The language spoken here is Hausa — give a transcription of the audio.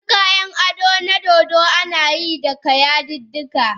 Wasu kayan ado na dodo ana yi daga yadudduka.